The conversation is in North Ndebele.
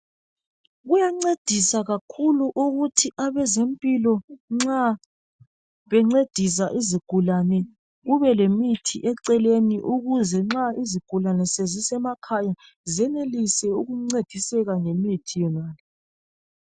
Kuyancedisa kakhulu ukuthi nxa abezempilakahle bencedisa izigulane kube lemithi eceleni ukuze izigulane nxa sezisemakhaya senelise ukuncediseka ngemithi yonaleyi.